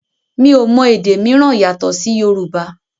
mi o mọ èdè míràn yàtò sì Yorùbá